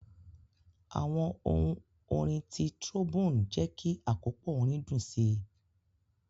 Awọn ohun orin ti trombone jẹ ki akopọ orin dun si.